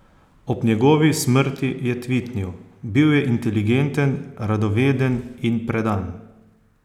Ob njegovi smrti je tvitnil: "Bil je inteligenten, radoveden in predan.